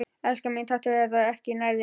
Elskan mín, taktu þetta ekki nærri þér.